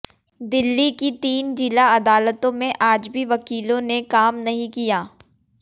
दिल्ली की तीन जिला अदालतों में आज भी वकीलों ने काम नहीं किया